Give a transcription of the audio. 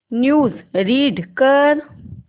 news read कर